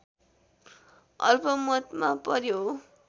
अल्पमतमा पर्‍यो